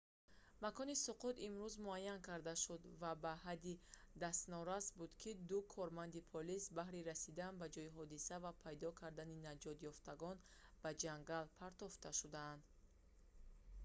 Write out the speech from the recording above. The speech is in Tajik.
макони суқут имрӯз муайян карда шуд ва ба ҳадде дастнорас буд ки ду корманди полис баҳри расидан ба ҷои ҳодиса ва пайдо кардани наҷотёфтагон ба ҷангал партофта шуданд